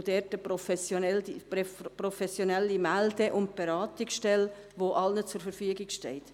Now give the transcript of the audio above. ACT212 und dort eine professionelle Melde- und Beratungsstelle, welche allen zur Verfügung steht.